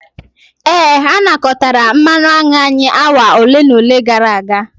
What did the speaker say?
Ee, a nakọtara mmanụ aṅụ anyị awa ole na ole gara aga.